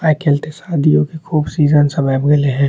आय काएल ते शादियों के खूब सीजन सब आएब गेले हेय।